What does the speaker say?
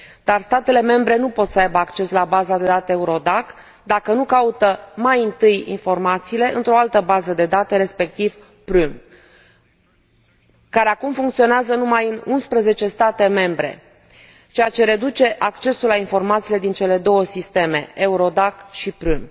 Dar statele membre nu pot să aibă acces la baza de date Eurodac dacă nu caută mai întâi informațiile într o altă bază de date, respectiv Prüm, care acum funcționează numai în 11 state membre, ceea ce reduce accesul la informațiile din cele două sisteme, Eurodac și Prüm.